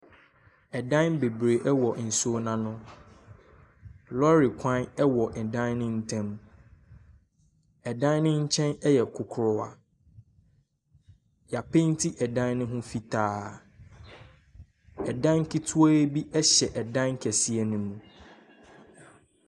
Ɛdan beberee ɛwɔ nsuo n'ano. Lɔre kwan ɛwɔ ɛdan no ntam. Ɛdan ne nkyɛn ɛyɛ kurukuwa. Y'apenti ɛdan no ho fitaa. Ɛdan ketwa bi ɛhyɛ ɛdan kɛseɛ ne mu.